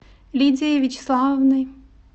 лидией вячеславовной